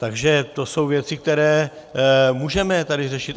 Takže to jsou věci, které můžeme tady řešit.